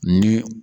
Ni